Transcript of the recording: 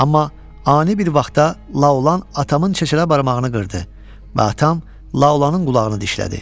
Amma ani bir vaxtda Laolan atamın çeçələ barmağını qırdı və atam Laolanın qulağını dişlədi.